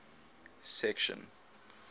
section